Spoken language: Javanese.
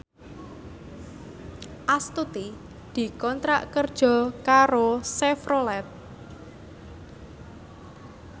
Astuti dikontrak kerja karo Chevrolet